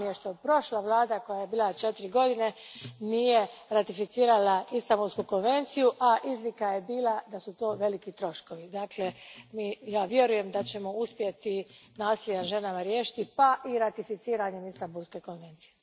Žao mi je što prošla vlada koja je bila četiri godine nije ratificirala Istanbulsku konvenciju, a izlika je bila da su to veliki troškovi. Dakle, ja vjerujem da ćemo uspjeti nasilje nad ženama riješiti pa i ratificiranjem Istanbulske konvencije.